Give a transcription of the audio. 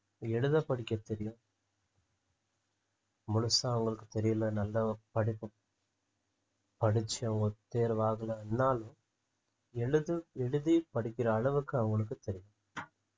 எழுத படிக்க தெரியும் முழுசா அவங்களுக்கு தெரியல நல்லா படிக்கணும் படிச்சவங்க தேர்வாகலன்னா எழுது எழுதி படிக்கிற அளவுக்கு அவங்களுக்கு தெரியும்